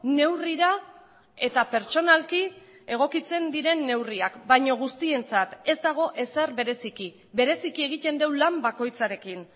neurrira eta pertsonalki egokitzen diren neurriak baino guztientzat ez dago ezer bereziki bereziki egiten du lan bakoitzarekin